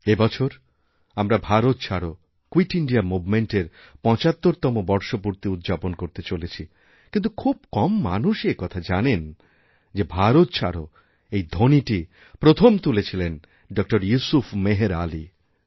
এবছর আমরা ভারত ছাড়ো কুইটিন্ডিয়া মুভমেন্ট এর৭৫তম বর্ষপূর্তি উদ্যাপন করতে চলেছি কিন্তু খুব কম মানুষই একথা জানেন যে ভারতছাড়োএই ধ্বনিটি প্রথম তুলেছিলেন ড ইউসুফ মেহের আলি